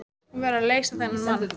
Hún verður að leysa þennan mann.